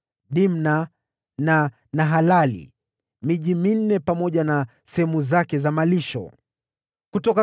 Dimna na Nahalali, pamoja na sehemu zake za malisho, ilikuwa miji minne;